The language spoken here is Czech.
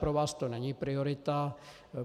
Pro vás to není priorita.